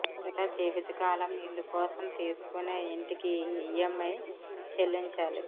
లేదా జీవిత కాలం ఇల్లు కోసం తీసుకునే ఇంటికి ఈఎం ఐ చెల్లించాలి